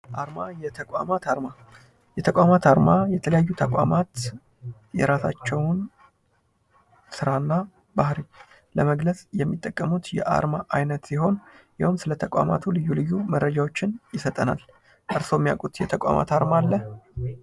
አርማ ፦ የተቋማት አርማ ፦ የተቋማት አርማ የተለያዩ ተቋማት የራሳቸውን ስራና ባህሪ ለመግለጽ የሚጠቀሙት የዓርማ አይነት ሲሆን እንዲሁም ስለ ተቋማቱ ልዩ ልዩ መረጃዎችን ይሰጠናል ። እርስዎ የሚያውቁት የተቋማት አርማ አለ?